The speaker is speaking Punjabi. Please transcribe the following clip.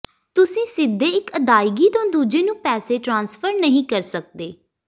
ਤੁਸੀਂ ਸਿੱਧੇ ਇੱਕ ਅਦਾਇਗੀ ਤੋਂ ਦੂਜੇ ਨੂੰ ਪੈਸੇ ਟ੍ਰਾਂਸਫਰ ਨਹੀਂ ਕਰ ਸਕਦੇ